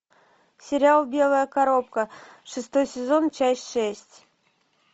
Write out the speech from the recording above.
сериал белая коробка шестой сезон часть шесть